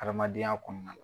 Adamadenya kɔnɔna na.